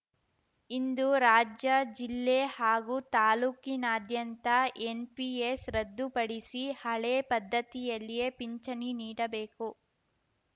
ಇಂದು ರಾಜ್ಯ ಜಿಲ್ಲೆ ಹಾಗೂ ತಾಲೂಕಿನಾದ್ಯಂತ ಎನ್‌ಪಿಎಸ್‌ ರದ್ದುಪಡಿಸಿ ಹಳೇ ಪದ್ಧತಿಯಲ್ಲಿಯೇ ಪಿಂಚಣಿ ನೀಡಬೇಕು